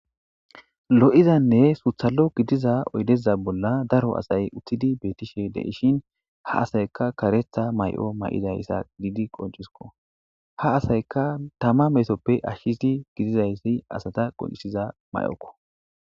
Lo'izanne suththali'o gidiza oydeza bolla daro asay uuttidii bettishe de'ishe ha asaykka kareththa mayo mayidii qonccisikko ha asaykka tama meetoppe ashidii gididayssa asata qonccisiza mayokko